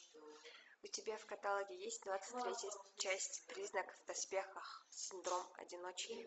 у тебя в каталоге есть двадцать третья часть призрак в доспехах синдром одиночки